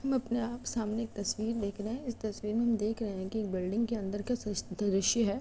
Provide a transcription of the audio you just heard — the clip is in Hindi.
हम अपने आप सामने एक तस्वीर देख रहे हैं। इस तस्वीर में हम देख रहे है कि एक बिल्डिंग के अंदर की सि दृश्य है।